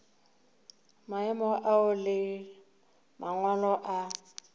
maemo ao le mangwalo a